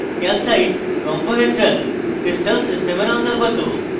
calcite rhombohedral crystal সিস্টেমের অন্তর্গত